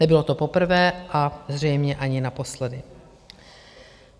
Nebylo to poprvé a zřejmě ani naposledy.